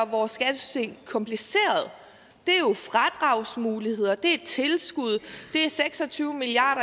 vores skattesystem kompliceret er fradragsmuligheder det er tilskud det er seks og tyve milliard